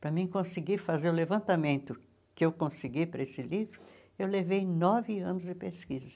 Para mim conseguir fazer o levantamento que eu consegui para esse livro, eu levei nove anos de pesquisa.